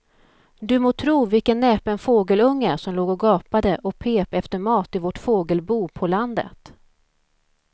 Du må tro vilken näpen fågelunge som låg och gapade och pep efter mat i vårt fågelbo på landet.